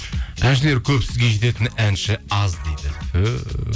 әншілер көбісі сізге жететін әнші аз дейді түһ